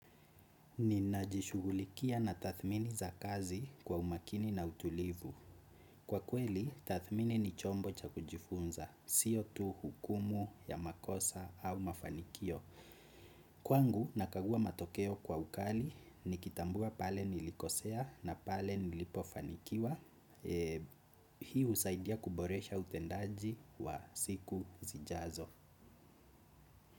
Ninajishughulikia na tathmini za kazi kwa umakini na utulivu. Kwa kweli, tathmini ni chombo cha kujifunza, siyo tu hukumu ya makosa au mafanikio. Kwangu, nakagua matokeo kwa ukali, nikitambua pale nilikosea na pale nilipofanikiwa. Hii husaidia kuboresha utendaji wa siku zijazo.